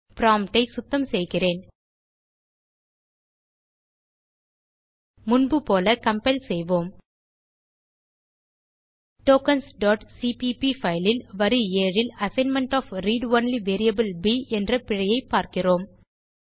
prompt ஐ சுத்தம் செய்கிறேன் முன்பு போல கம்பைல் செய்வோம் tokensசிபிபி பைல் ல் வரி 7 ல் assignment of read only variable ப் என்ற பிழையைப் பார்க்கிறோம்